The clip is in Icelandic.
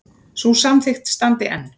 Sú samþykkt standi enn.